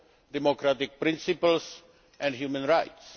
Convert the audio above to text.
democratic principles and human rights.